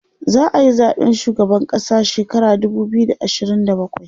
za'ayi zaɓen shugaban ƙasa shekara dubu biyu da ashirin da bakwai